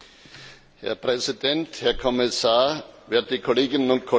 Herr Präsident, Herr Kommissar, werte Kolleginnen und Kollegen!